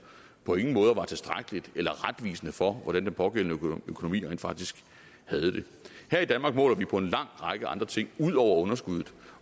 på ingen måder var tilstrækkeligt eller retvisende for hvordan den pågældende økonomi rent faktisk havde det her i danmark måler vi på en lang række andre ting ud over underskuddet